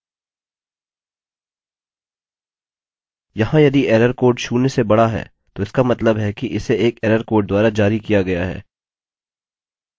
यहाँ यदि error code शून्य से बड़ा है तो इसका मतलब है कि इसे एक एरर कोड द्वारा जारी किया गया है फिर मैं die लिखूँगा